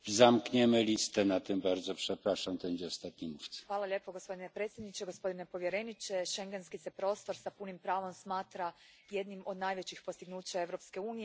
Gospodine predsjedavajući, schengenski se prostor s punim pravom smatra jednim od najvećih postignuća Europske unije budući da omogućuje slobodu kretanja unutar njenog jedinstvenog teritorija.